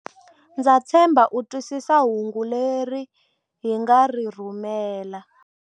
Ndza tshemba u twisisa hungu leri hi nga ri rhumela.